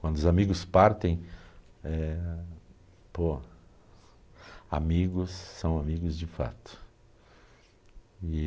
Quando os amigos partem, eh, pô, amigos são amigos de fato.